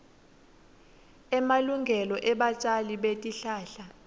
emalungelo ebatjali betihlahla